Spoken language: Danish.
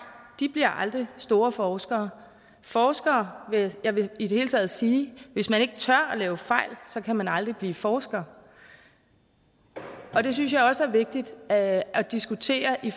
bliver aldrig store forskere forskere jeg vil i det hele taget sige at hvis man ikke tør at lave fejl så kan man aldrig blive forsker det synes jeg også er vigtigt at at diskutere i